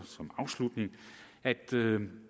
afslutning at